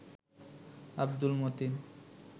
Abdul Matin